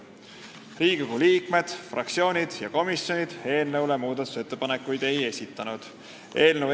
Riigikogu liikmed, fraktsioonid ega komisjonid eelnõu muutmiseks ettepanekuid ei esitanud.